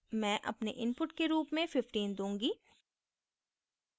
मैं अपने input के रूप में 15 दूँगी